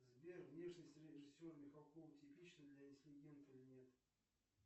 сбер внешность режиссера михалков типична для интеллигента или нет